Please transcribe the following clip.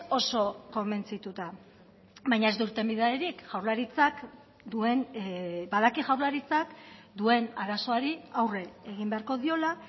oso konbentzituta baina ez du irtenbiderik jaurlaritzak duen badaki jaurlaritzak duen arazoari aurre egin beharko diola